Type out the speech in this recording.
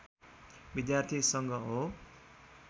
विद्यार्थी सङ्घ हो